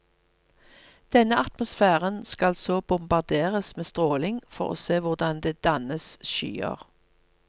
Denne atmosfæren skal så bombarderes med stråling for å se hvordan det dannes skyer.